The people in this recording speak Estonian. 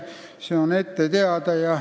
See on ette teada.